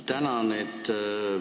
Tänan!